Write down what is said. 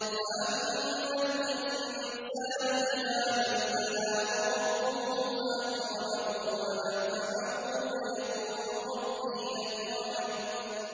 فَأَمَّا الْإِنسَانُ إِذَا مَا ابْتَلَاهُ رَبُّهُ فَأَكْرَمَهُ وَنَعَّمَهُ فَيَقُولُ رَبِّي أَكْرَمَنِ